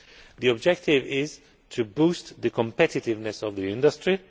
The objective is to boost the competitiveness of the industry.